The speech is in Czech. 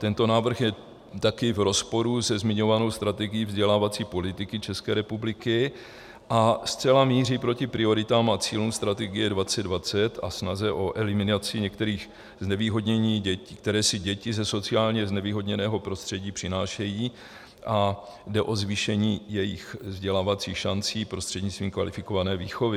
Tento návrh je také v rozporu se zmiňovanou strategií vzdělávací politiky České republiky a zcela míří proti prioritám a cílům strategie 2020 a snaze o eliminaci některých znevýhodnění, které si děti ze sociálně znevýhodněného prostředí přinášejí, a jde o zvýšení jejich vzdělávacích šancí prostřednictvím kvalifikované výchovy.